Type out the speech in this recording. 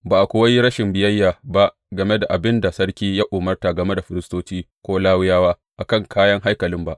Ba a kuwa yi rashin biyayya ba game da abin da sarki ya umarta game da firistoci ko Lawiyawa a kan kayan haikalin ba.